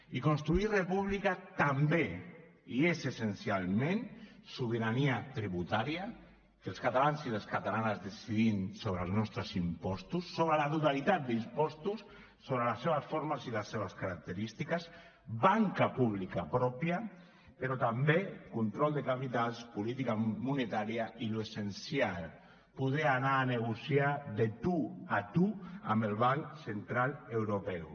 i construir república també i és essencialment sobirania tributària que els catalans i les catalanes decidim sobre els nostres impostos sobre la totalitat d’impostos sobre les seves formes i les seves característiques banca pública pròpia però també control de capitals política monetària i l’essencial poder anar a negociar de tu a tu amb el banc central europeu